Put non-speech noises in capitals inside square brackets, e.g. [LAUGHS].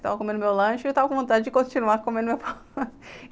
Estava comendo meu lanche e eu estava com vontade de continuar [LAUGHS] comendo meu pão doce.